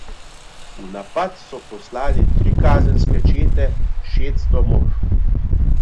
V napad so poslali tri kazenske čete, šeststo mož.